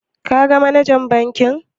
Ka ga manajan bankin?